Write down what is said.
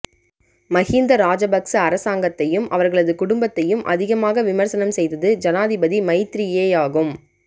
மஹிந்த ராஜபக்ச அரசாங்கத்தையும் அவர்களது குடும்பத்தையும் அதிகமாக விமர்சனம் செய்தது ஜனாதிபதி மைத்திரியேயாகும்